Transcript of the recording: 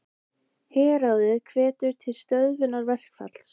Herráðið hvetur til stöðvunar verkfalls